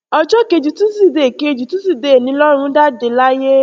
ọjọ́ kejì túsìdéè kejì túsìdéè ni lọrun jáde láyé